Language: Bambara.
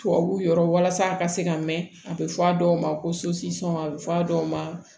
Tubabuw yɔrɔ walasa a ka se ka mɛn a bɛ fɔ a dɔw ma ko a bɛ fɔ a dɔw ma